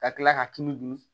Ka kila k'a tulu dun